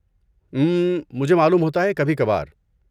اممم، مجھے معلوم ہوتا ہے، کبھی کبھار۔